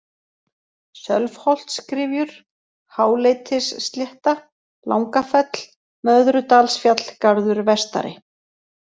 Sölvholtsgryfjur, Háleitisslétta, Langafell, Möðrudalsfjallgarður vestari